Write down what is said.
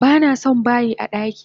Banason bayin daki!